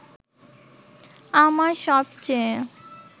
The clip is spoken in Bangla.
আমার সবচেয়ে